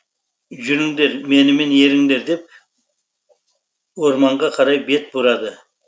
жүріңдер менімен еріңдер деп ормаңға қарай бет бұрады